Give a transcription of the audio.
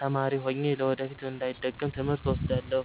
ተማሪ ሆኜ ለወደፊት እንዳይደገም ትምህርት እወስዳለሁ።